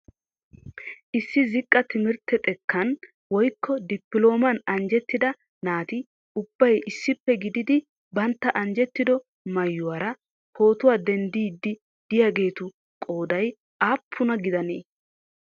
Issi ziqqa timirtte xekkan woykko dipilooman anjjettida naati ubbay issippe gididi bantta anjjetido maayyuwaara pootuwaa denddiidi de'iyaageetu qooday aappuna gidanee?